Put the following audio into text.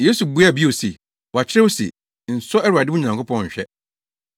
Yesu buaa bio se, “Wɔakyerɛw se, ‘Nsɔ Awurade wo Nyankopɔn nhwɛ.’ ”